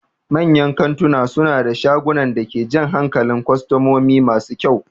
Manyan kantuna suna da shagunan da ke jan hankalin kwastomomi masu kyau.